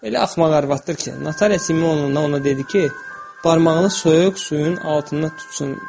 Elə axmaq arvadıdır ki, notarius Simeon ona dedi ki, barmağını soyuq suyun altında tutsun.